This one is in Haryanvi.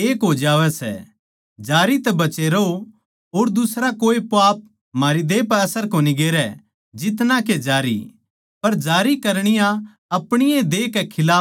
जारी तै बचे रहो और दुसरा कोए पाप म्हारे देह पै असर कोनी गेरै जितना के जारी पर जारी करणीया अपणी ए देह कै खिलाफ पाप करै सै